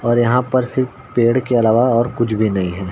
और यहाँ पर सिर्फ पेड़ के अलावा और कुछ भी नही है।